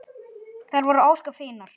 Þær voru ósköp fínar.